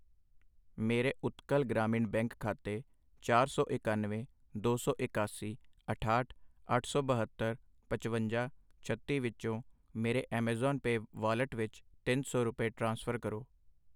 ਮੇਰੇ ਉਤਕਲ ਗ੍ਰਾਮੀਣ ਬੈਂਕ ਖਾਤੇ ਚਾਰ ਸੌ ਇਕਾਨਵੇਂ, ਦੋ ਸੌ ਇਕਾਸੀ, ਅਠਾਹਠ, ਅੱਠ ਸੋ ਬਹੱਤਰ, ਪਚਵੰਜਾ, ਛੱਤੀ ਵਿੱਚੋਂ ਮੇਰੇ ਐੱਮਾਜ਼ੋਨ ਪੇਅ ਵਾਲਟ ਵਿੱਚ ਤਿੰਨ ਸੌ ਰੁਪਏ, ਟ੍ਰਾਂਸਫਰ ਕਰੋ।